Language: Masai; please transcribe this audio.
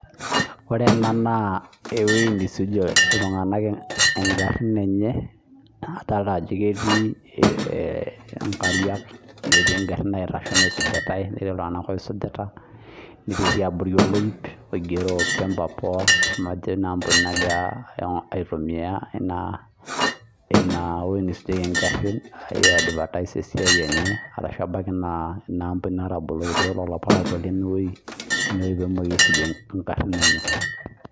Ena ena naa ewuei nisujie iltunganak ingharhin enye adolita ajo ketii inkatiak netii igharhin naitashito naisujitai netii iltunganak oisujita netii abori oloip oigiero Pembepoa najo ina ambuni nagira aitumia ine neisujieki igharib aiadvertise esiai enye ashu ebaiki naa ina ambuni natabolo tiatua lelo parakwo leinewei pee eisujie igharhin enye